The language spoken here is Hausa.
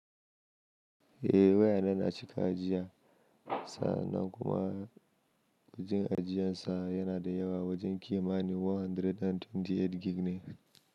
Eh wayana na cika ajiya, sannan kuma ajiyansa yana dayawa wajen kimanin 128 gig ne.